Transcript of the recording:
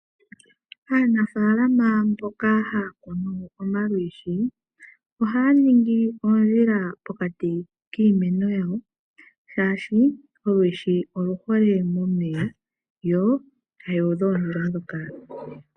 Aanafaalama mboka haya kunu omalwiishi. Ohaya ningi oondjila pokati kiimeno yawo shaashi olwiishi oluhole momeya yo taya udha oondjila ndhoka.